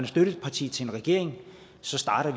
støtteparti til en regering starter